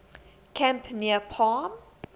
camp near palm